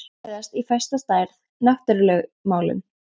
Dýr fæðast í fasta stærð: náttúrulögmálin.